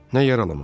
Nə yaralamaq?